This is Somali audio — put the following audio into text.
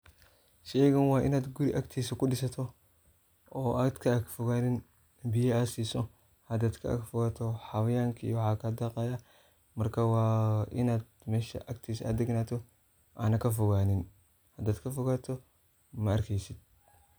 Sheygan wa in guriga agtisa kudisato. oo ad ka agfoganin, biyo ad siso hadad kaag fogato xawayanka iyo waxa aya kadaqayah, marka waa inad mesha agtisa a daganato ana kafoganin. hadad kafogato ma arkesid.